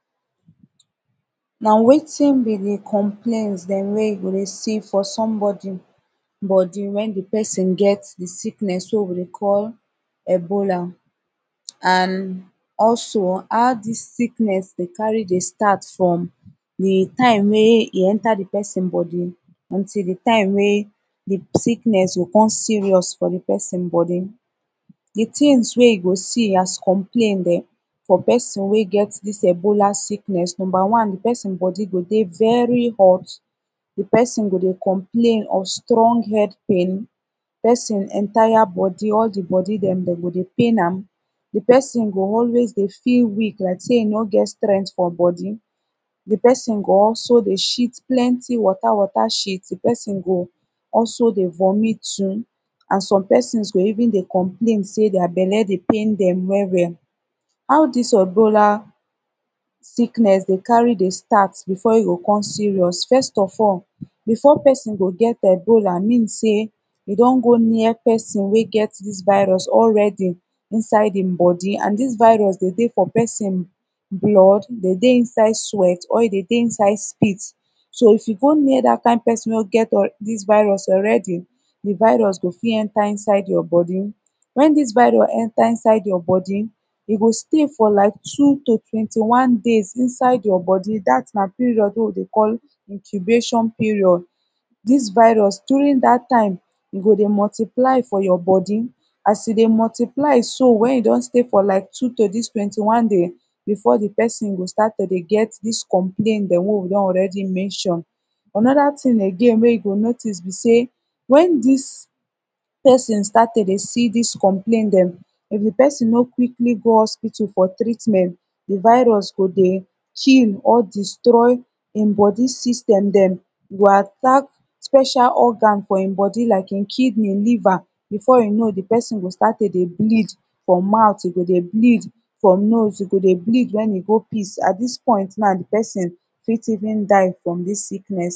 na wetin bi de complain dem wey you go recieve fo sombodi bodi wen de pesin get de sickness wey we de call ebola an also how dis sickness de carry de stat from wit de tim wey e enta de pesin bodi until de taim wey de sickness go cum serious fo de pesin bodi tins wey you go si as complain dem fo pesin wey get dis ebola sickess numba one de pesin bodi go dey veri hot de pesin go dey complain of strong head pain de pesin entire bodi all de bodi dem dem go de pain am de pesin go always de feel weak like sey e no get strength fo bodi de pesin go also de shit plenty wata wata shit de pesin go also de vomit too an som pesin go even de complain sey dier belle de pain pain dem well well how dis ebola sickness de cary de start befo e go com serious fest of all befo pesi go get ebola mean sey edon go near pesin wey get dis virus already inside em bodi an dis virus de dey fo pesin blood de dey inside sweat or de dey inside spit so if yu go near dat kin pesin wey get dis virus already de virus go fit enta inside yur body wen dis virus enta inside yur bodi e go stay fo like two to twenti one days inside yur body dat na period wey we de call incubation period dis virus during dat taime e go de multiply fo yur bodi as e de multiply so wen e don stay fo lik two to dis twenti one daiz befo de pesin go start to de get dis complain dem wey we don already mention anoda tin wey yu go notiz bi sey wen dis pesin start to de si dis complain dem if de pesin no quickly go hospital fo treatment de virus go de kill or destroy em bodi system dem e go atak special organ fo em bodi like em kidney liver befo yu know de pesin go start to de bleed fo mouth e go de bleed fo nose e go de bleed wen e go piss at dis point now de pesin fit even die from dis sickness